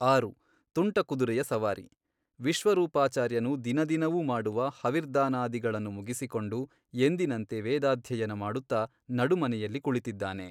ಆರು, ತುಂಟ ಕುದುರೆಯ ಸವಾರಿ ವಿಶ್ವರೂಪಾಚಾರ್ಯನು ದಿನದಿನವೂ ಮಾಡುವ ಹವಿರ್ದಾನಾದಿಗಳನ್ನು ಮುಗಿಸಿಕೊಂಡು ಎಂದಿನಂತೆ ವೇದಾಧ್ಯಯನ ಮಾಡುತ್ತ ನಡುಮನೆಯಲ್ಲಿ ಕುಳಿತಿದ್ದಾನೆ.